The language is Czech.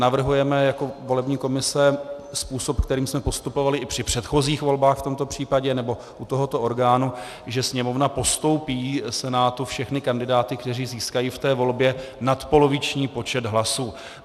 Navrhujeme jako volební komise způsob, kterým jsme postupovali i při předchozích volbách v tomto případě, nebo u tohoto orgánu, že Sněmovna postoupí Senátu všechny kandidáty, kteří získají v té volbě nadpoloviční počet hlasů.